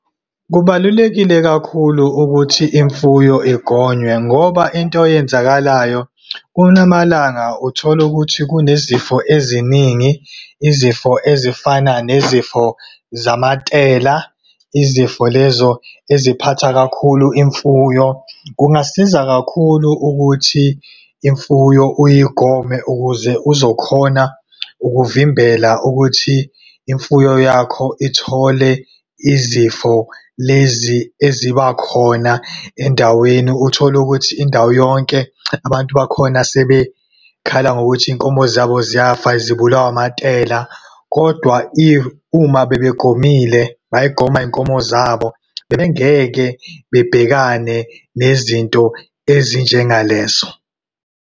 Kubalulekile kakhulu ukuthi imfuyo igonywe, ngoba into eyenzakalayo kulamalanga uthola ukuthi kunezifo eziningi, izifo ezifana nezifo zamatela. Izifo lezo eziphatha kakhulu imfuyo. Kungasiza kakhulu ukuthi imfuyo uyigome, ukuze uzokhona ukuvimbela ukuthi imfuyo yakho ithole izifo lezi eziba khona endaweni. Uthole ukuthi indawo yonke, abantu bakhona sebekhala ngokuthi iy'nkomo zabo ziyafa, zibulawa amatela. Kodwa uma bebegomile, bazigoma iy'nkomo zabo, bengeke bebhekane nezinto ezinjengalezo.